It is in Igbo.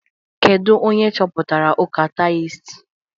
Kedu onye chọpụtara ụka taioist?